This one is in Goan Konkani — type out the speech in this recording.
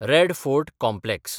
red fort complex